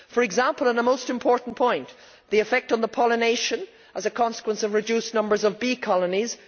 An example and a most important point is the effect on pollination as a consequence of reduced numbers of bee colonies.